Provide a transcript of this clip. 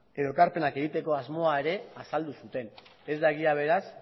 edo ekarpenak egiteko asmoa ere azaldu zuten ez da egia beraz